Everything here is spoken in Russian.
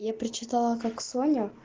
я прочитала как соня